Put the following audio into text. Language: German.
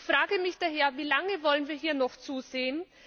Ich frage mich daher Wie lange wollen wir hier noch zusehen?